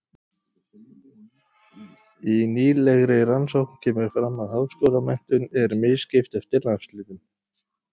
Í nýlegri rannsókn kemur fram að háskólamenntun er misskipt eftir landshlutum.